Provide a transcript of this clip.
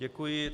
Děkuji.